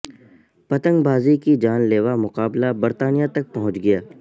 پتنگ بازی کی جان لیوا مقابلہ برطانیہ تک پہنچ گیا